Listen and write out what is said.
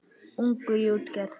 Ungur í útgerð